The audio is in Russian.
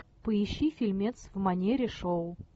поищи фильмец в манере шоу